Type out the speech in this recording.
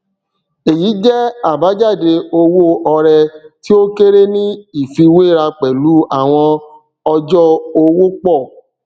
èyí jẹ àbájáde owó ọrẹ tí ó kéré ní ìfiwéra pẹlú àwọn ọjọ owó pọ